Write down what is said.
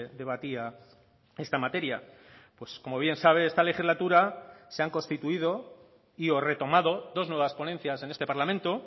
debatía esta materia pues como bien sabe esta legislatura se han constituido y o retomado dos nuevas ponencias en este parlamento